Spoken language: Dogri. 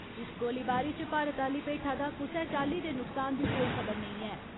इस गोलीबारी इच भारत आली पेठा दा कुसै चाल्ली दे नुकसान दी कोई खबर नेंई ऐ।